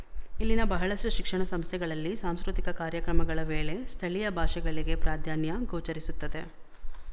ಇಲ್ಲಿನ ಬಹಳಷ್ಟು ಶಿಕ್ಷಣ ಸಂಸ್ಥೆಗಳಲ್ಲಿ ಸಾಂಸ್ಕೃತಿಕ ಕಾರ್ಯಕ್ರಮಗಳ ವೇಳೆ ಸ್ಥಳೀಯ ಭಾಷೆಗಳಿಗೆ ಪ್ರಾಧಾನ್ಯ ಗೋಚರಿಸುತ್ತದೆ